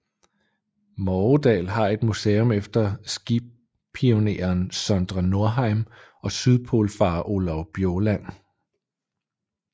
Morgedal har et museum efter skipioneren Sondre Norheim og sydpolfarer Olav Bjaaland